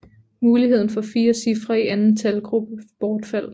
Muligheden for 4 cifre i anden talgruppe bortfaldt